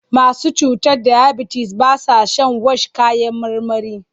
Masu cutar dayabitis ba sa shan wash kayan marmarin.